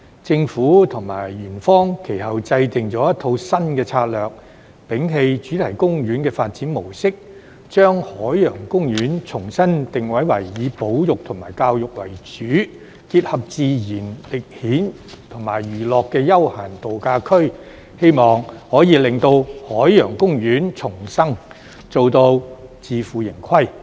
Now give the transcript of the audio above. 政府及園方其後制訂了一套新策略，摒棄主題公園的發展模式，將海洋公園重新定位為以保育和教育為主、結合自然、歷險和娛樂的休閒度假區，希望可以令海洋公園重生，達至自負盈虧。